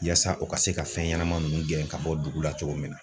Yaasa u ka se ka fɛn ɲɛnama ninnu gɛn ka bɔ dugu la cogo min na.